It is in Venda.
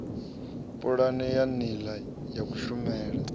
pulane ya nila ya kushumele